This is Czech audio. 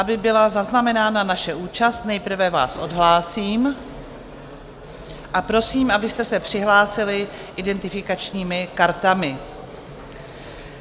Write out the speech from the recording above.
Aby byla zaznamenána naše účast, nejprve vás odhlásím a prosím, abyste se přihlásili identifikačními kartami.